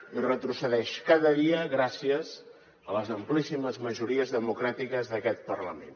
i retrocedeix cada dia gràcies a les amplíssimes majories democràtiques d’aquest parlament